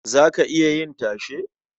Za ka iya yin tashe?